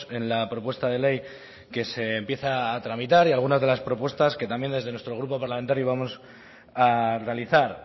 en la propuesta de ley que se empieza a tramitar y algunas de las propuestas que también desde nuestro grupo parlamentario vamos a realizar